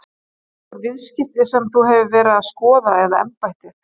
Eru þetta einhver viðskipti sem að þú hefur verið að skoða eða embættið?